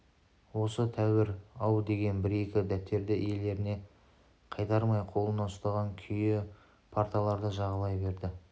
осы тәуір-ау деген бір-екі дәптерді иелеріне қайтармай қолына ұстаған күйі парталарды жағалай берді